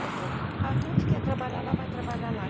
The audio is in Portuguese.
Ela falou, A Ruth quer trabalhar lá, vai trabalhar lá.